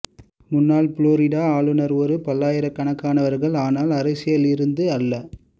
முன்னாள் புளோரிடா ஆளுனர் ஒரு பல்லாயிரக்கணக்கானவர்கள் ஆனால் அரசியல் இருந்து அல்ல